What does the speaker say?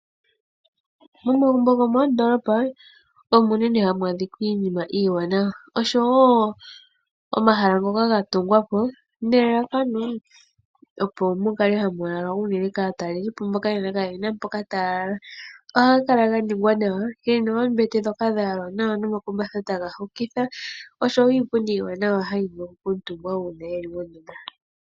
Momagumbo gomoondolopa omo unene hamu adhika iinima iiwanawa oshowo omahala ngoka gatungwapo nelalakano opo mukale unene hamu lalwa kaatalelipo. Oha ga kala ganingwa nawa gena oombete dhayalwa nawa nomakumbatha taga hokitha oshowo iipundi iiwanawa.